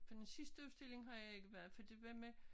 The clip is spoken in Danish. På den sidste udstilling har jeg ikke været for det var med